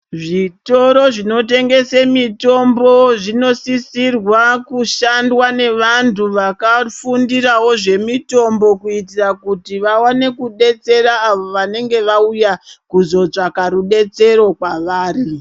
Zvitoro zvinotengese mitombo zvinosisirwa kushandwa nevantu vakafundirawo zvemitombo kuitira kuti vawane kudetsera avo vanenge vauya kuzotsvaka rudetsero kwavari.